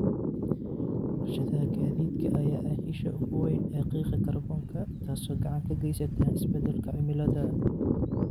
Warshadaha gaadiidka ayaa ah isha ugu weyn ee qiiqa kaarboonka taasoo gacan ka geysata isbedelka cimilada.